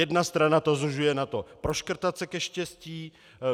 Jedna strana to zužuje na to proškrtat se ke štěstí.